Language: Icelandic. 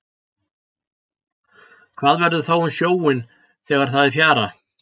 hvað verður þá um sjóinn þegar það er fjara